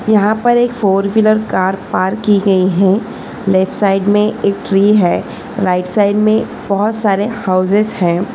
यहां पर एक फोरव्हीलर कार पार्क की गई है लेफ्ट साइड में एक है राइट साइड में बहुत सारे हाउसेस है।